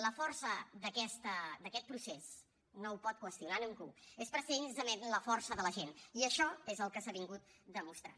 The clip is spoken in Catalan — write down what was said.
la força d’aquest procés no ho pot qüestionar ningú és precisament la força de la gent i això és el que s’ha demostrat